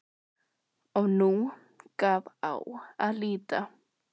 Og nú gaf á að líta.